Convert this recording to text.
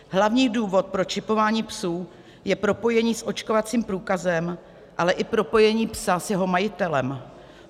Hlavní důvod pro čipování psů je propojení s očkovacím průkazem, ale i propojení psa s jeho majitelem.